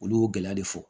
Olu y'o gɛlɛya de fɔ